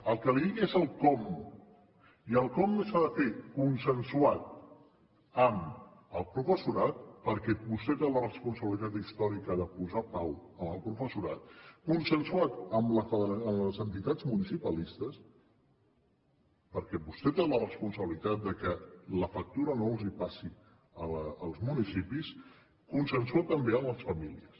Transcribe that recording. el que li dic és el com i el com s’ha de fer consensuat amb el professorat perquè vostè té la responsabilitat històrica de posar pau amb el professorat consensuat amb les entitats municipalistes perquè vostè té la responsabilitat que la factura no els passi als municipis consensuat també amb les famílies